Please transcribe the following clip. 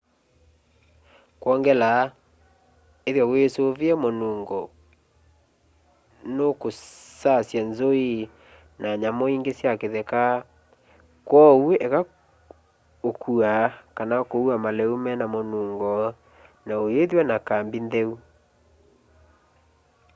kwongela ithwa wisuvie munungo nukusasya nzui na nyamu ingi sya kitheka kwoou eka ukua kana kuua maliu mena munungo na uyithwa na kambi ntheu